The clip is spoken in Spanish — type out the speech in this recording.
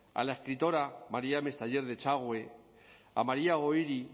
a la escritora maría mestayer de echagüe a maría goiri